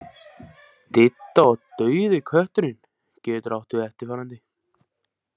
Didda og dauði kötturinn getur átt við eftirfarandi.